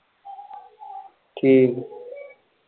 ਠੀਕ ਏ।